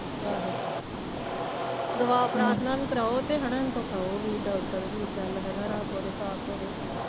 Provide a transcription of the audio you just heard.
ਆਹੋ ਦੁਆ ਪ੍ਰਾਥਨਾ ਵੀ ਕਰਾਓ ਤੇ ਹੈਨਾ ਇਹਨੂੰ ਦਿਖਾਓ ਵੀ ਡਾਕਟਰ ਵੀ ਚਲ ਹੈਨਾ ਰੱਬ ਦੇ